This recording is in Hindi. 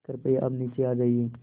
कृपया अब नीचे आ जाइये